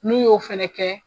Min y'o fana kɛ